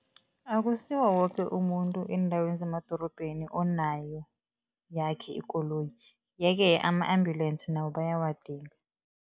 Akusiwo woke umuntu eendaweni zemadorobheni onayo yakhe ikoloyi, yeke ama-ambulensi nawo bayawagidinga.